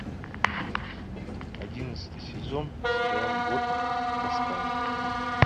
одиннадцатый сезон сериал год в тоскане